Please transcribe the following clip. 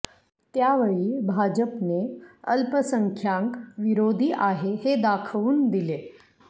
त्यावेळी भाजपने अल्पसंख्यांक विरोधी आहे हे दाखवून दिले